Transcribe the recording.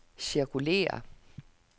cirkulér